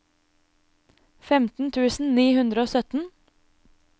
femten tusen ni hundre og sytten